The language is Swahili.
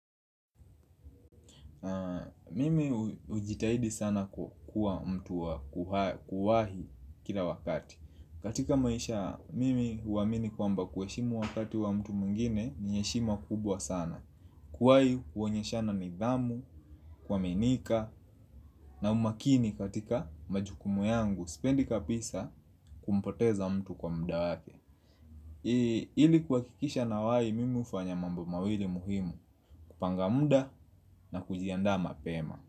Mimi hujitahidi sana kuwa mtu wa kuwahi kila wakati katika maisha, mimi huamini kwamba kuheshimu wakati wa mtu mwingine ni heshima kubwa sana. Kuwahi huonyeshana nidhamu, kuaminika na umakini katika majukumu yangu sipendi kabisa kumpoteza mtu kwa muda wake ili kuhakikisha nawahi, mimi hufanya mambo mawili muhimu. Kupanga muda na kujiandaa mapema.